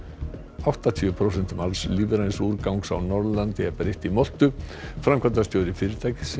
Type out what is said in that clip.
áttatíu prósentum alls lífræns úrgangs á Norðurlandi er breytt í moltu framkvæmdastjóri fyrirtækis sem